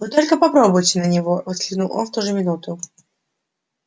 вы только попробуйте на него воскликнул он в ту же минуту